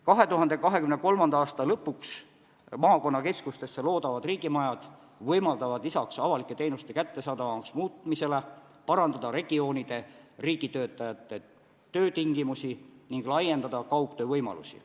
2023. aasta lõpuks maakonnakeskustesse loodavad riigimajad võimaldavad lisaks avalike teenuste kättesaadavamaks muutmisele parandada regioonide riigitöötajate töötingimusi ning laiendada kaugtöövõimalusi.